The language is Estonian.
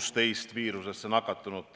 16 viirusesse nakatunut.